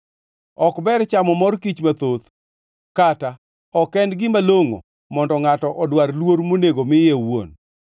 Ok ber chamo mor kich mathoth, kata ok en gima longʼo mondo ngʼato odwar luor monego miye owuon.